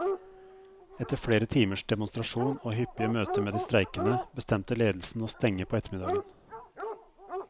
Etter flere timers demonstrasjon og hyppige møter med de streikende, bestemte ledelsen å stenge på ettermiddagen.